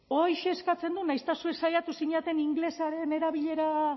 horixe eskatzen du nahiz eta zuek saiatu zineten ingelesaren erabilera